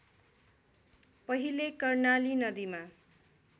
पहिले कर्णाली नदीमा